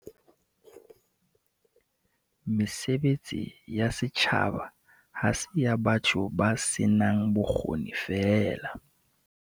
Mesebetsi ya setjhaba ha se ya batho ba senang bokgoni feela.